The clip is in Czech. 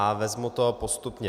A vezmu to postupně.